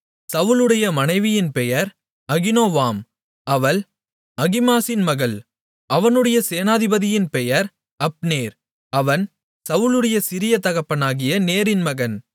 சவுலுடைய மனைவியின் பேர் அகினோவாம் அவள் அகிமாசின் மகள் அவனுடைய சேனாபதியின் பெயர் அப்னேர் அவன் சவுலுடைய சிறிய தகப்பனாகிய நேரின் மகன்